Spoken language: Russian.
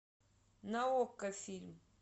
на окко фильм